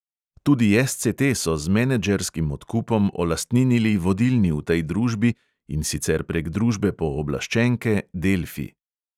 Tudi SCT so z menedžerskim odkupom olastninili vodilni v tej družbi, in sicer prek družbe pooblaščenke delfi.